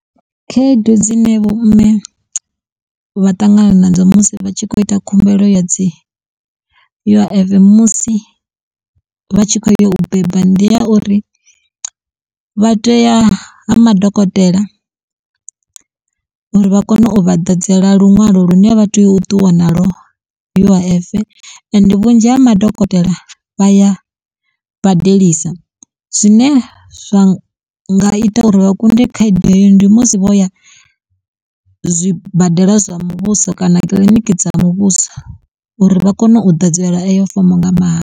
Khaedu dzine vho mme vha ṱangana na dzo musi vha tshi khou ita khumbelo ya dzi U_I_F musi vha tshi khou ya u beba ndi ya uri vha tea ha madokotela uri vha kone u vha ḓadzela luṅwalo lune vha tea u ṱuwa nalwo U_I_F ende vhunzhi ha madokotela vha ya badelisa. Zwine zwa nga ita uri vha kunde khaedu iyo ndi musi vho ya zwibadela zwa muvhuso kana kiḽiniki dza muvhuso uri vha kone u ḓadzelwa eyo fomo nga mahala.